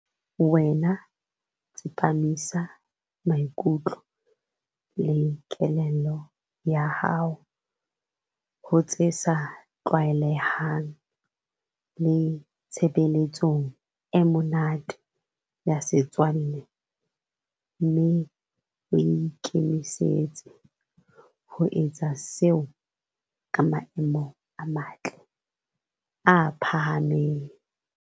Wena tsepamisa maikutlo le kelello ya hao ho tse sa tlwaelehang, le tshebeletsong e monate, ya setswalle, mme o ikemisetse ho etsa seo ka maemo a matle, a phahameng.